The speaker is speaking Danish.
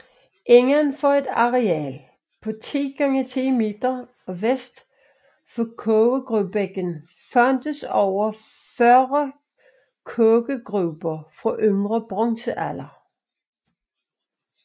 Inden for et areal på 10 x 10 m og vest for kogegruberækken fandtes over 40 kogegruber fra yngre bronzealder